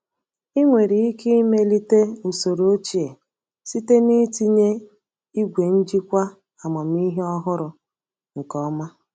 Ị nwere ike imelite usoro ochie site na ịtinye igwe njikwa amamihe ọhụrụ nke ọma.